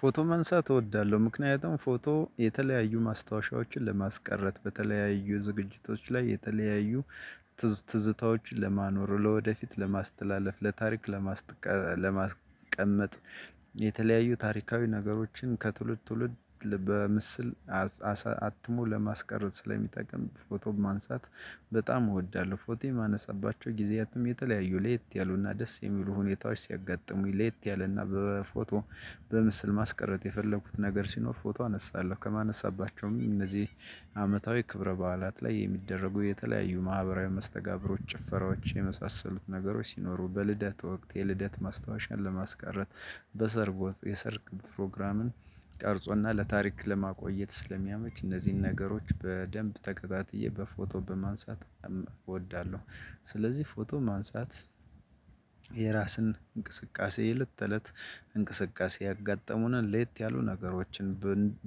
ፎቶ መንሳት እወዳለሁ ምክንያቱም ፎቶ የተለያዩ ማስታወሻዎችን ለማስቀረት በተለያዩ ዝግጅቶች ላይ የተለያዩ ትዝታዎችን ለማኖር ለወደፊት ለማስተላለፍ ለታሪክ ለማስቀመጥ የተለያዩ ታሪካዊ ነገሮችን ከትውልድ ትውልድ በምስል አትሞ ለማስቀረት ስለሚጠቅም ፎቶ ማንሳት በጣም እወዳለሁ። ፎቶ የማነሳባቸው ጊዜያትም የተለያዩ ሌት ያሉና ደስ የሚሉ ሁኔታዎች ሲያጋጥሙኝ ሌት ያለና በፎቶ በምስል ማስቀረት የፈለኩት ነገር ሲኖር ፎቶ አነሳለሁ። ከማነሳባቸውም እነዚህ አመታዊ ክብረ በዓላት ላይ የሚደረጉ የተለያዩ ማህበራዊ መስተጋብሮች ጭፈራዎች የመሳሰሉት ነገሮች ሲኖሩ በልደት ወቅት የልደት ማስታወሻን ለማስቀረት በሰርጎ የሰርግ ፕሮግራምን ቀርጾና ለታሪክ ለማቆየት ስለሚያመች እነዚህን ነገሮች በደንብ ተከታትዬ በፎቶ በማንሳት እወዳለሁ። ስለዚህ ፎቶ ማንሳት። የራስን እንቅስቃሴ የለት ተለት እንቅስቃሴ ያጋጠሙንን ለየት ያሉ ነገሮችን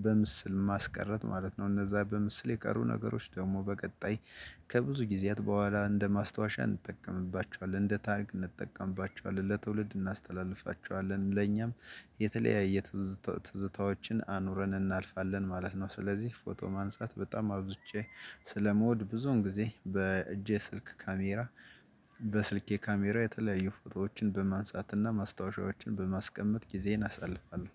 በምስል ማስቀረት ማለት ነው። እነዛ በምስል የቀሩ ነገሮች ደግሞ በቀጣይ ከብዙ ጊዜያት በኋላ እንደ ማስታወሻ እንጠቀምባቸዋለን እንደ ታርክ እንጠቀምባቸዋለን ለትውልድ እናስተላልፋቸዋለን። ለኛም የተለያየ ትዝታዎችን አኑረን እናልፋለን ማለት ነው። ስለዚህ ፎቶ ማንሳት በጣም አውጥቼ ስለመውድ ብዙን ጊዜ በእጄ ስልክ ካሜራ በስልኬ ካሜራ የተለያዩ ፎቶዎችን በማንሳትና ማስታወሻዎችን በማስቀመጥ ጊዜን አሳልፋለሁ።